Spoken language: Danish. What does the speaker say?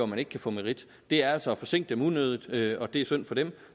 man ikke kan få merit det er altså at forsinke dem unødigt og det er synd for dem